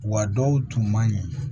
Wa dɔw tun man ɲi